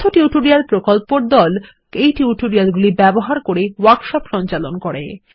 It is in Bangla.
কথ্য টিউটোরিয়াল প্রকল্পর দল এই টিউটোরিয়াল গুলি ব্যবহার করে ওয়ার্কশপ সঞ্চালন করে